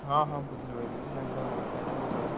ହଁ ହଁ ବୁଝିଲି ବୁଝିଲି ତାଙ୍କ ଘର ସିଆଡେ